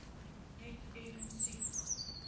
net effens siek